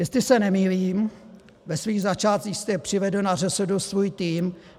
Jestli se nemýlím, ve svých začátcích jste přivedl na ŘSD svůj tým.